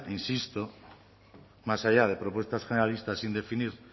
insisto más allá de propuestas generalistas sin definir